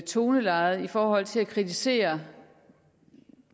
tonelejet i forhold til at kritisere